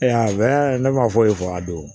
ne ma foyi fɔ a don